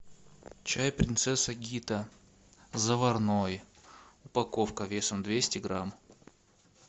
чай принцесса гита заварной упаковка весом двести грамм